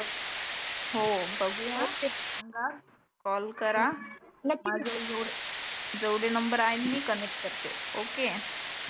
हो बघुया सांगा कॉल करा माझ्या कडुन जेव्हढ जेव्हढे नंबर आहे मी कनेक्ट करते ok